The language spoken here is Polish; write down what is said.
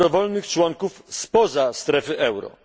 dobrowolnych członków spoza strefy euro.